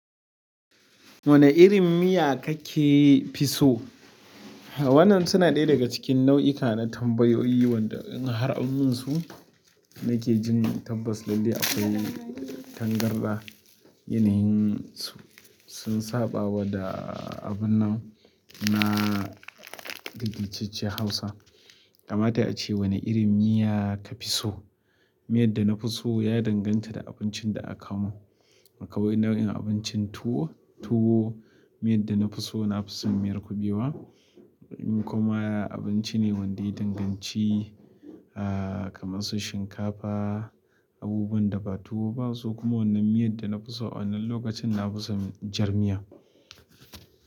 Wane irin miya kake fi so? Ha wannan suna ɗaya daga cikin nau'ika na tambayoyi wanda in har an mun su nake jin tabbas lalle akwai tangarɗa. Yanayin su, sun saɓawa da abun nan na daidaitacciyar hausa. Kamata ace wane irin miya kafi so? Miyar da nafi so ya danganta da abincin da aka kawo mun ba kamar in nau'in abincin tuwo, tuwo, miyar da nafi so nafi son miyar kuɓewa. Kuma abinci ne wanda ya danganci, ah, kamar su shinkafa, abubuwan da ba tuwo ba, su kuma wannan miyar da nafi so a wannan lokacin nafi son jar miya.